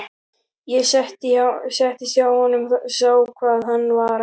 Ég settist hjá honum, sá hvað hann var að hugsa.